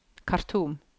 Khartoum